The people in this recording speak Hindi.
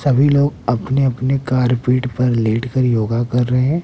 सभी लोग अपने अपने कार्पेट पर लेटकर योगा कर रहे।